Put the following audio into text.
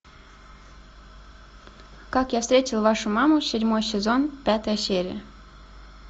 как я встретил вашу маму седьмой сезон пятая серия